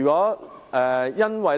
一語。